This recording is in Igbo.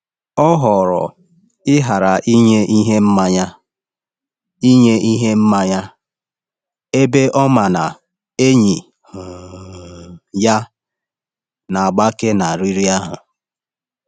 Ọ họọrọ ịghara inye ihe mmanya, inye ihe mmanya, ebe ọ ma na enyi um ya na-agbake na riri ahụ.